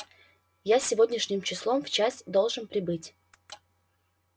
я сегодняшним числом в часть должен прибыть